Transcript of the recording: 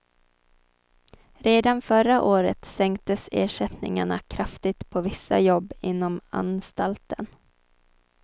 Redan förra året sänktes ersättningarna kraftigt på vissa jobb inom anstalten.